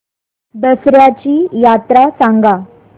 दसर्याची यात्रा सांगा